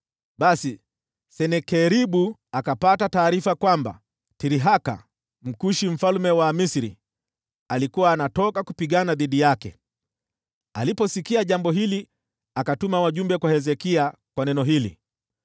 Basi Senakeribu akapata taarifa kwamba Tirhaka, Mkushi mfalme wa Misri, alikuwa anaenda kupigana naye. Aliposikia jambo hili akatuma wajumbe kwa Hezekia na neno hili: